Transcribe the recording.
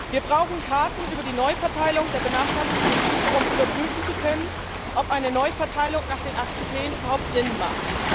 Wir brauchen Karten über die Neuverteilung der benachteiligten Gebiete, um überprüfen zu können, ob eine Neuverteilung nach den acht Kriterien überhaupt Sinn macht.